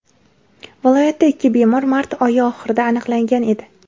Viloyatda ikki bemor mart oyi oxirida aniqlangan edi.